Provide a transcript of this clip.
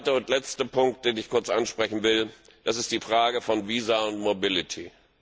Der zweite und letzte Punkt, den ich kurz ansprechen will, ist die Frage von Visa und Mobilität.